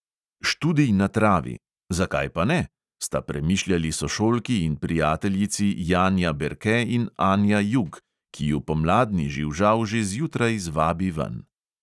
"Študij na travi, zakaj pa ne," sta premišljali sošolki in prijateljici janja berke in anja jug, ki ju pomladni živžav že zjutraj zvabi ven.